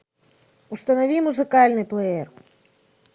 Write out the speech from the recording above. установи музыкальный плеер